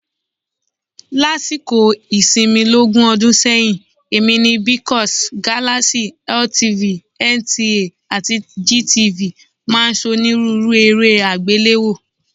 Lásìkò ìsinmi lógún ọdún sẹ́yìn, èmi ni BCOS, Galaxy, LTV, NTA àti GTV máa ń ṣonírúurú eré àgbéléwò.